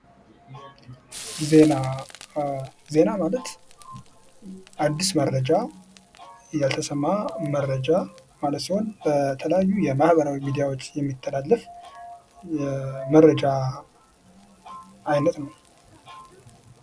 ዜና ፡ዜና ማለት አድስ መረጃ፤ ያልተሰማ መረጃ ማለት ሲሆን በተለያዩ የማህበራዊ ሚዳዎች የሚተላለፍ የመረጃ አይነት ነው።